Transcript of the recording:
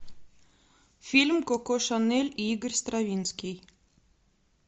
фильм коко шанель и игорь стравинский